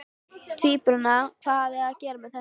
Tvíburana, hvað hafa þeir með þetta að gera?